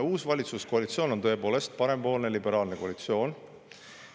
Uus valitsuskoalitsioon on tõepoolest parempoolne liberaalne koalitsioon.